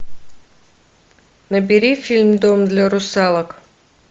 набери фильм дом для русалок